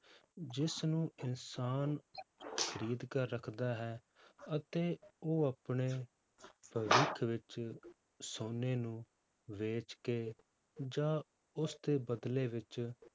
ਜਿਸਨੂੰ ਇਨਸਾਨ ਖ਼ਰੀਦ ਕਰ ਰੱਖਦਾ ਹੈ, ਅਤੇ ਉਹ ਆਪਣੇ ਭਵਿੱਖ ਵਿੱਚ ਸੋਨੇ ਨੂੰ ਵੇਚ ਕੇ ਜਾਂ ਉਸਦੇ ਬਦਲੇ ਵਿੱਚ